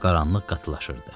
Qaranlıq qatılaşırdı.